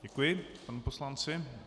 Děkuji panu poslanci.